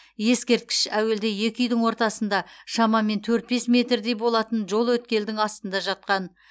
ескерткіш әуелде екі үйдің ортасында шамамен төрт бес метрдей болатын жол өткелдің астында жатқан